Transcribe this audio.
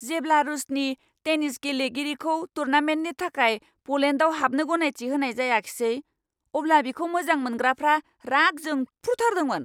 जेब्ला रूसनि टेनिस गेलेगिरिखौ टूर्नामेन्टनि थाखाय पलेन्डआव हाबनो गनायथि होनाय जायाखिसै, अब्ला बिखौ मोजां मोनग्राफ्रा राग जोंफ्रुथारदोंमोन।